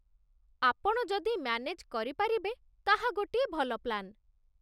ଆପଣ ଯଦି ମ୍ୟାନେଜ୍ କରିପାରିବେ, ତାହା ଗୋଟିଏ ଭଲ ପ୍ଲାନ୍